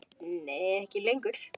Nei ekki lengur.